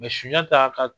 sunjata ka